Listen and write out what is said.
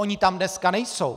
Oni tam dneska nejsou.